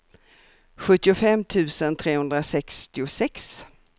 sjuttiofem tusen trehundrasextiosex